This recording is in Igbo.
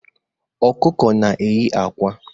Ọkụkọ na-eye akwa.